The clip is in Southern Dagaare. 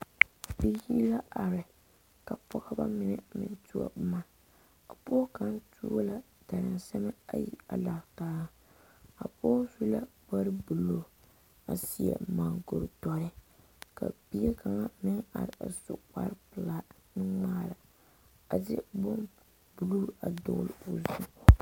Biiri la are ka Pɔgeba mine meŋ tuo boma pɔge kaŋ tuo la darasɔma ayi a lantaa a pɔge su la kpare buluu a seɛ moɔkuri doɔ ka bie kaŋ meŋ are a su kpare pelaa nuŋmare a de bonbuluu a dɔgle o zu.